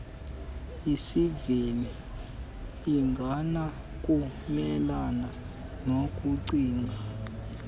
iziva ingenakumelana nokucinga